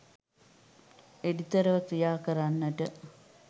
එඩිතරව ක්‍රියා කරන්නට